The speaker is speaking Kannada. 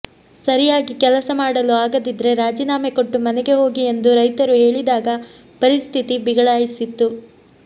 ಸರಿಯಾಗಿ ಕೆಲಸ ಮಾಡಲು ಆಗದಿದ್ರೆ ರಾಜೀನಾಮೆ ಕೊಟ್ಟು ಮನೆಗೆ ಹೋಗಿ ಎಂದು ರೈತರು ಹೇಳಿದಾಗ ಪರಿಸ್ಥಿತಿ ಬಿಗಡಾಯಿಸಿತ್ತು